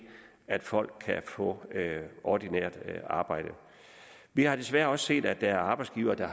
at folk kan få ordinært arbejde vi har desværre også set at der er arbejdsgivere der